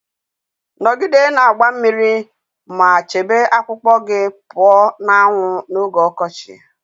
Nọgide na-agba mmiri ma chebe akpụkpọ gị pụọ na anwụ n'oge ọkọchị